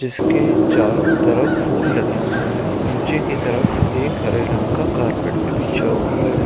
जिसके चारो तरफ फूल लगे हुए हैं नीचे की तरफ एक हरे रंग का कारपेट भी बिछा हुआ है।